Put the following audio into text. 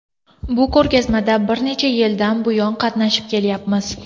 Bu ko‘rgazmada bir necha yildan buyon qatnashib kelyapmiz.